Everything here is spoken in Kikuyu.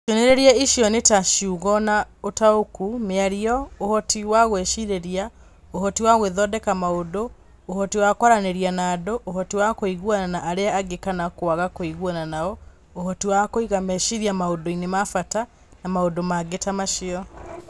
Cionereria icio nĩ ta ciugo na ũtaũku, mĩario, ũhoti wa gũicirĩria, ũhoti wa gwĩthondeka maũndũ, ũhoti wa kwaranĩria na andũ, ũhoti wa kũiguana na arĩa angĩ kana kwaga kũiguana nao, ũhoti wa kũiga meciria maũndũ-inĩ ma bata, na maũndũ mangĩ ta macio.